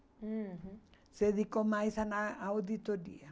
uhum Se dedicou mais a na à auditoria.